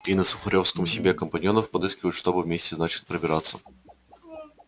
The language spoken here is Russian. и на сухарёвской себе компаньонов подыскивают чтобы вместе значит пробираться